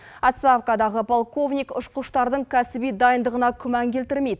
отставкадағы полковник ұшқыштардың кәсіби дайындығына күмән келтірмейді